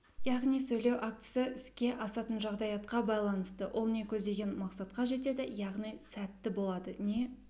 яғни сөйлеу актісі іске асатын жағдаятқа байланысты ол не көздеген мақсатқа жетеді яғни сәтті болады не